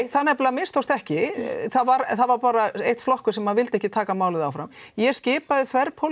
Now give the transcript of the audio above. það nefnilega mistókst ekki það var bara einn flokkur sem vildi ekki taka málið áfram ég skipaði